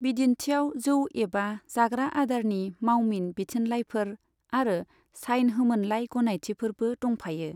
बिदिन्थियाव जौ एबा जाग्रा आदारनि मावमिन बिथिनलाइफोर आरो साइन होमोनलाइ गनायथिफोरबो दंफायो।